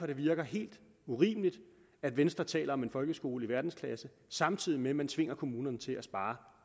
det virker helt urimeligt at venstre taler om en folkeskole i verdensklasse samtidig med at man tvinger kommunerne til at spare